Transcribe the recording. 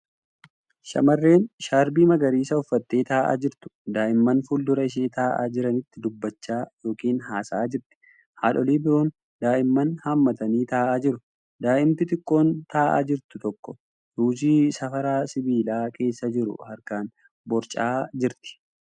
Shamarreen shaarbii magariisa uffattee taa'aa jirtu daa'imman fuuldura ishee taa'aa jiranitti dubbachaa ykn haasa'aa jirti. Haadholii biroon daa'imman haammatanii taa'aa jiru. Daa'imti xiqqoon taa'aa jiru tokko ruuzii saafaa sibiilaa keessa jiru harkaan borcaa jira.